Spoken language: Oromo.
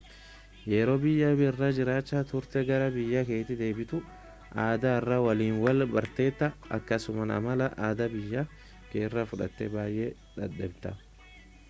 yeroo biyya biraa jiraacha turtee gara biyya keeti deebitu aadaa haaraa waliin wal bartetaa akkasuma amala aadaa biyya kee irraa fudhatee baayee dhabdeeta